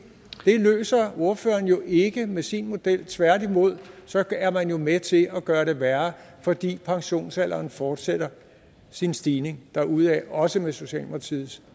løser ordføreren jo ikke med sin model tværtimod er man med til at gøre det værre fordi pensionsalderen fortsætter sin stigning derudaf også med socialdemokratiets